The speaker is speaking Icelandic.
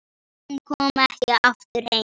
Hún kom ekki aftur heim.